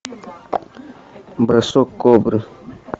бросок кобры